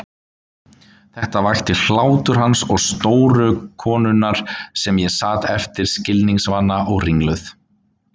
Þetta vakti hlátur hans og stóru konunnar en ég sat eftir skilningsvana og ringluð.